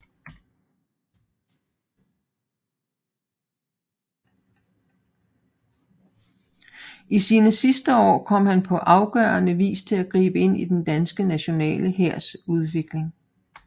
I sine sidste år kom han til på afgørende vis at gribe ind i den danske nationale hærs udvikling